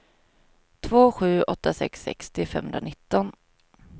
två sju åtta sex sextio femhundranitton